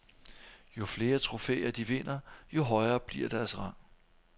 Jo flere trofæer de vinder, jo højere bliver deres rang.